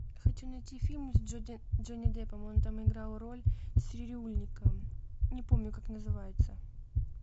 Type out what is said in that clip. хочу найти фильм с джонни деппом он там играл роль цирюльника не помню как называется